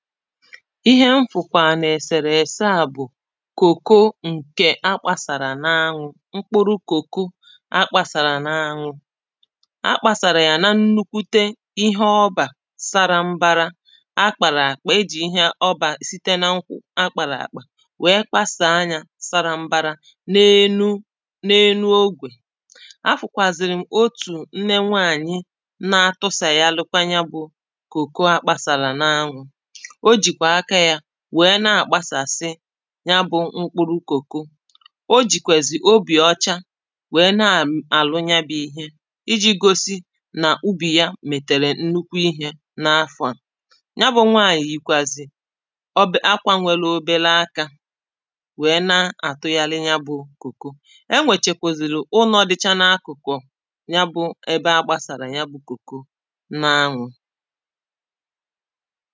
Ihe m fụ̀kwà n’ èsèrè èsè à bụ Kòko ǹkè akpàsàrà n’ anwụ Mkpụrụ kòko akpàsàrà n’ anwụ Akpàsàrà yà n’ nnukwute ihe ọbà sara m̀bara Akpàrà akpà ejì ihe ọbà site n’ nkwụ akpàrà akpà Weē kpasàā yà sara m̀bara n' énú, n’ énú ógʷè Afụ̀kwàzị̀rị̀m otù nne nwanyị̄ Na àtụsàyarikwa ya bụ kòko akpàsàrà n’ anwụ O jìkwà aka ya, weē nà-àkpasàsi Ya bụ mkpụrụ kòko O jikwèzì obì ọcha Weē na.. àlụ ya bụ ihe Ijì gosi na ubì yà mètèrè nnukwu ihe n’ afọ̀ à Ya bụ nwanyị̄ yìkwàzị̀ Obe.. akwà nwere obere aka Weē na-àtụghari ya bụ kòko Enwèchèkwùzìrì ụlọ̀ dịcha n’ akụ̀kụ̀ Ya bụ ebe agbasàrà ya bụ kòko n’ anwụ